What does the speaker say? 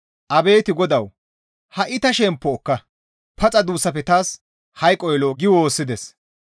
Abeet GODAWU! Ha7i ta shemppo ekka; paxa duussafe taas hayqoy lo7o» gi woossides.